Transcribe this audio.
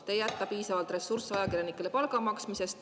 Te ei jäta piisavalt ressursse ajakirjanikele palga maksmiseks.